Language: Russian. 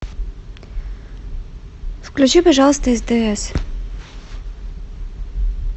включи пожалуйста стс